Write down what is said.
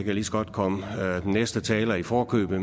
jeg lige så godt komme den næste taler i forkøbet